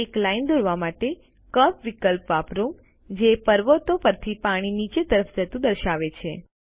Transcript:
એક લાઇન દોરવા માટે કર્વ વિકલ્પ વાપરો જે પર્વતો પરથી પાણી નીચે તરફ જતું દર્શાવે છે